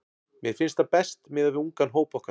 Mér finnst það best miðað við ungan hóp okkar.